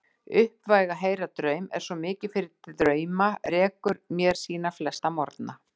Uppvæg að heyra draum, er svo mikið fyrir drauma, rekur mér sína flesta morgna.